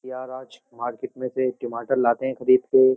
यार आज मार्केट में से टमाटर लाते हैं खरीद के।